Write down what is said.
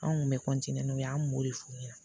Anw kun bɛ n'u ye an kun b'o de f'u ɲɛna